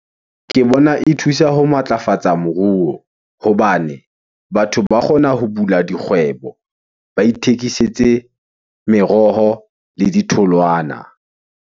Ke bona e thusa ho matlafatsa moruo hobane batho ba kgona ho bula dikgwebo. Ba ithekisetse meroho le ditholwana.